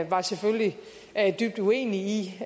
var selvfølgelig dybt uenig i